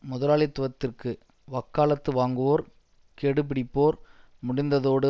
முதலாளித்துவத்திற்கு வக்காலத்து வாங்குவோர் கெடுபிடிப்போர் முடிந்ததோடு